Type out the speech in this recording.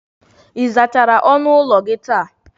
Ị zachara ọnụ ụlọ gị taa?